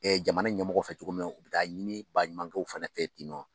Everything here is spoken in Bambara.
Ɛ jamana ɲɛmɔgɔ fɛ cogo min na, u bɛ taa ɲini ba ɲumankɛw fɛnɛ fɛ tɛ nɔn.